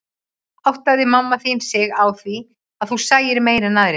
Áttaði mamma þín sig á því að þú sæir meira en aðrir?